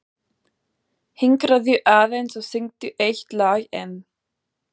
Hinkraðu aðeins og syngdu eitt lag enn.